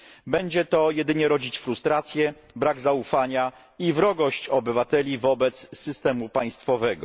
Będzie to jedynie rodzić frustrację, brak zaufania i wrogość obywateli wobec systemu państwowego.